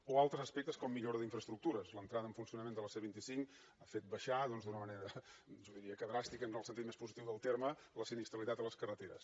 o altres aspectes com millora d’infraestructures l’entrada en funcionament de la c vint cinc ha fet baixar d’una manera jo diria que dràstica en el sentit més positiu del terme la sinistralitat a les carreteres